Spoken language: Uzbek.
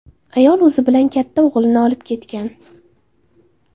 Ayol o‘zi bilan katta o‘g‘lini olib ketgan.